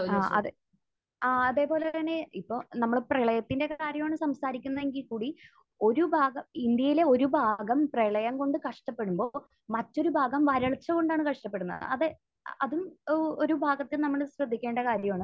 ആഹ്. അതെ. ആഹ്. അതേപോലെ തന്നെ ഇപ്പോൾ നമ്മൾ പ്രളയത്തിന്റെയൊക്കെ കാര്യമാണ് സംസാരിക്കുന്നതെങ്കിൽ കൂടി ഒരു ഭാഗ...ഇന്ത്യയിലെ ഒരു ഭാഗം പ്രളയം കൊണ്ട് കഷ്ടപ്പെടുമ്പോൾ മറ്റൊരു ഭാഗം വരൾച്ച കൊണ്ടാണ് കഷ്ടപ്പെടുന്നത്. അത് അതും ഏഹ് ഒരു ഭാഗത്തിൽ നമ്മൾ ശ്രദ്ധിക്കേണ്ട കാര്യമാണ്.